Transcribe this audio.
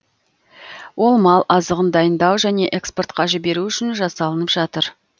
ол мал азығын дайындау және экспортқа жіберу үшін жасалынып жатыр